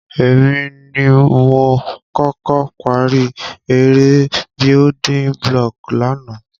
Èmi ni m koko parí eré buliding block lánàá